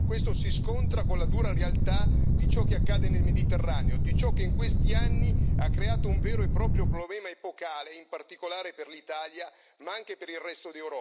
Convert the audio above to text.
Questo si scontra con la dura realtà di ciò che accade nel Mediterraneo, di ciò che in questi anni ha creato un vero e proprio problema epocale, in particolare per l'Italia, ma anche per il resto d'Europa.